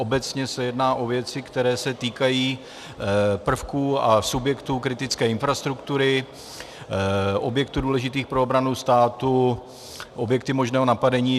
Obecně se jedná o věci, které se týkají prvků a subjektů kritické infrastruktury, objektů důležitých pro obranu státu, objektů možného napadení.